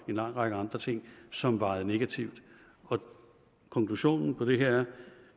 en lang række andre ting som vejede negativt og konklusionen på det her